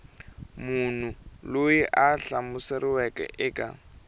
munhu loyi a hlamuseriweke eka